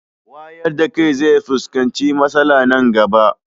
wayardakai zefuskanci matsala Nan gaba